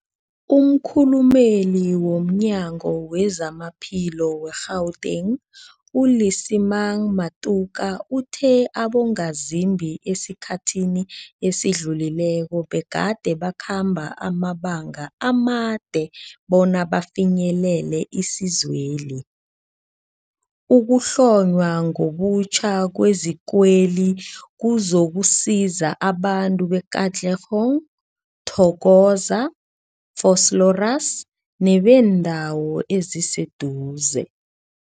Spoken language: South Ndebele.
Umkhulumeli womNyango weZamaphilo we-Gauteng, u-Lesemang Matuka uthe abongazimbi esikhathini esidlulileko begade bakhamba amabanga amade bona bafinyelele isizweli. Ukuhlonywa ngobutjha kwezikweli kuzokusiza abantu be-Katlehong, Thokoza, Vosloorus nebeendawo eziseduze.